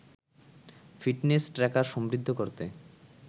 fitness tracker সমৃদ্ধ করতে